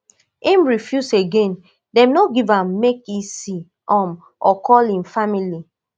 im refuse again dem no gree am make e see um or call im family